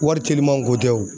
Wari telimanw ko tɛ o.